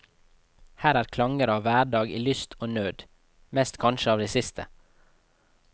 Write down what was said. Her er klanger av hverdag i lyst og nød, mest kanskje av det siste.